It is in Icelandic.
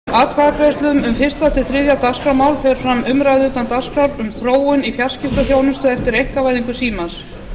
að loknum atkvæðagreiðslum um fyrstu til þriðja dagskrármál fer fram umræða utan dagskrár um þróun í fjarskiptaþjónustu eftir einkavæðingu símans